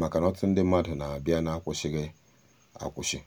maka na ọtụtụ ndị mmadụ na-abịa n'akwụsịghị akwusi.